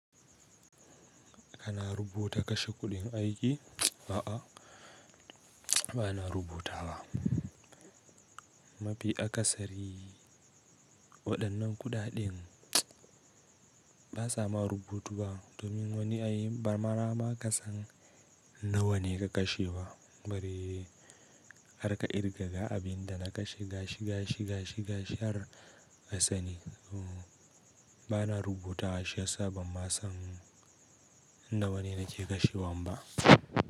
Kana rubuta kashe kuɗin aiki? A'a, ba na rubutawa. Mafi akasari waɗannan kuɗaɗen ba sa ma rubutuwa, domin wani yayi marmara ma kasan nawa ne ka kashe ba. Bari har ka kirgaga abin da na kashe ga shi ga shi ga shi har asani. Ba na rubutawa shi yasa ban ma san nawa ne nake kashewan ba.